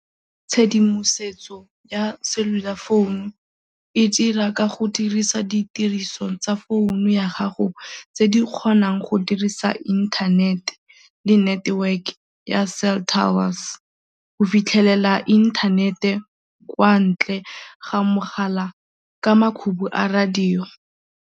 Tshedimosetso ya cellular phone-u e dira ka go dirisa ditiriso tsa founu ya gago tse di kgonang go dirisa internet le network ya cell towers go fitlhelela inthanete kwa ntle ga mogala ka makhubu a radio.